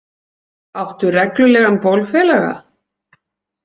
Áttu reglulegan bólfélaga?